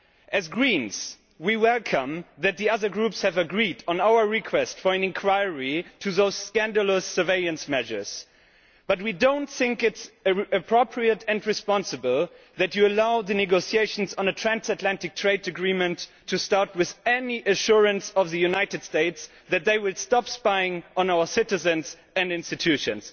As Greens we welcome that the other groups have agreed to our request for an inquiry into those scandalous surveillance measures, but we do not think it is appropriate and responsible that you allow the negotiations on a transatlantic trade agreement to start without any assurance from the United States that they will stop spying on our citizens and institutions.